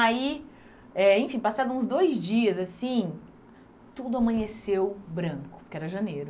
Aí, eh enfim, passados uns dois dias assim, tudo amanheceu branco, porque era janeiro.